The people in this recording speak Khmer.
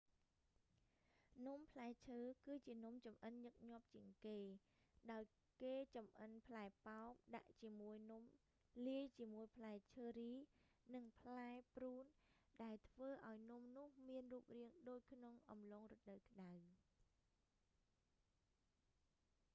នំផ្លែឈើ គឺជានំចម្អិនញឹកញាប់ជាងគេ ដោយគេចម្អិនផ្លែប៉ោមដាក់ជាមួយនំ លាយជាមួយផ្លែឈើរី និងផ្លែព្រូន ដែលធ្វើឲ្យនំនោះមានរូបរាងដូចក្នុងអំឡុងរដូវក្ដៅ